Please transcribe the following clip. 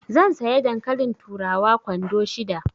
Zan saya dankalin turawa kwando shida.